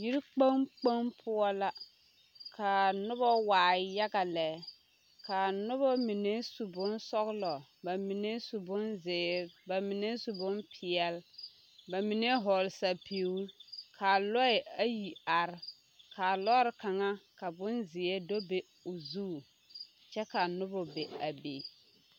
Yikpoŋ yikpoŋ poɔ la kaa nobɔ waa yaga lɛ kaa nobɔ mine su bonsɔglɔ ba mine su bonzeere ba mine su bonpeɛle ba mine hɔɔle sɛpige kaa lɔɛ ayi are kaa lɔre kaŋa ka bonzeɛ do be o zu kyɛ ka nobɔ be a be.